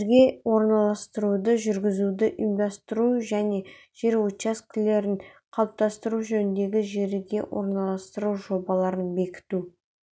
жерге орналастыруды жүргізуді ұйымдастыру және жер учаскелерін қалыптастыру жөніндегі жерге орналастыру жобаларын бекіту